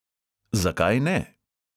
"Zakaj ne?"